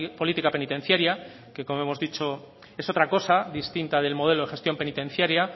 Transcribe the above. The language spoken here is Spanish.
política penitenciaria que como hemos dicho es otra cosa distinta del modelo de gestión penitenciaria